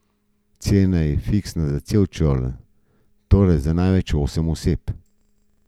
Cena je fiksna za cel čoln, torej za največ osem oseb.